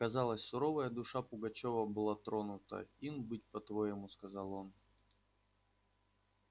казалось суровая душа пугачёва была тронута ин быть по-твоему сказал он